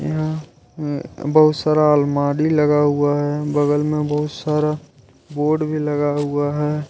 यहा अ बहुत सारा अलमारी लगा हुआ है बगल में बहुत सारा बोर्ड भी लगा हुआ है।